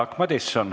Jaak Madison.